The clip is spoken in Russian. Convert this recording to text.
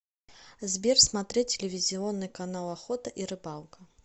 сбер смотреть телевизионный канал охота и рыбалка